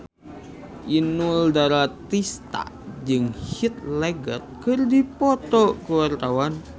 Inul Daratista jeung Heath Ledger keur dipoto ku wartawan